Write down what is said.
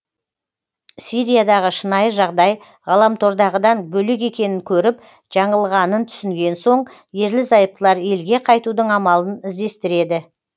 сириядағы шынайы жағдай ғаламтордағыдан бөлек екенін көріп жаңылғанын түсінген соң ерлі зайыптылар елге қайтудың амалын іздестіреді